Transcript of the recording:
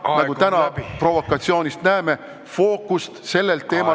... mille fookust te ära nihutada püüate, nagu me tänasest provokatsioonist näeme.